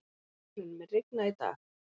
Þórunn, mun rigna í dag?